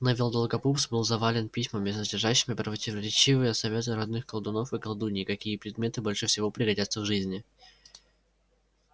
невилл долгопупс был завален письмами содержащими противоречивые советы родных колдунов и колдуний какие предметы больше всего пригодятся в жизни